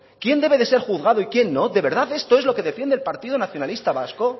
quién debe de ser juzgado y quién no de verdad esto es lo que defiende el partido nacionalista vasco